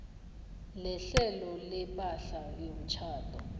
lehlelo lepahla yomtjhado